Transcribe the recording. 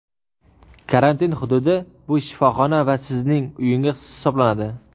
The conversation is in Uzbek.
karantin hududi bu shifoxona va Sizning uyingiz hisoblanadi.